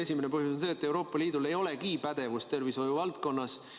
Esimene põhjus on see, et Euroopa Liidul ei olegi pädevust tervishoiu valdkonnas.